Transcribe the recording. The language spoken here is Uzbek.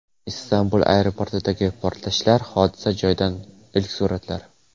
Istanbul aeroportidagi portlashlar: hodisa joyidan ilk suratlar.